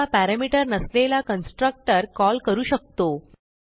आता पॅरामीटर नसलेला constructor call करू शकतो